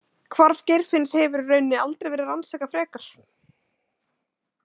Hvarf Geirfinns hefur í rauninni aldrei verið rannsakað frekar.